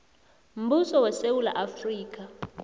mbuso wesewula afrika